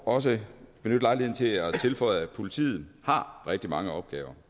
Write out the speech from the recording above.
også benytte lejligheden til at tilføje at politiet har rigtig mange opgaver